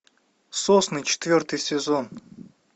сосны четвертый сезон